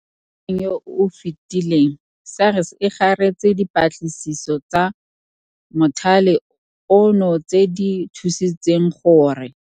Mo ngwageng yo o fetileng, SARS e garetse dipatlisiso tsa mothale ono tse di thusitseng gore